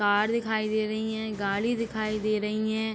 पहाड़ दिखाई दे रही है गाड़ी दिखाई दे रही है।